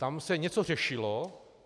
Tam se něco řešilo.